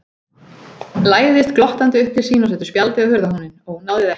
Læðist glottandi upp til sín og setur spjald á hurðarhúninn: Ónáðið ekki!